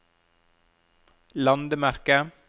landemerke